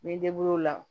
N bɛ n o la